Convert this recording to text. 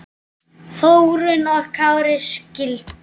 Þórunn og Kári skildu.